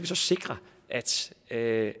så sikre at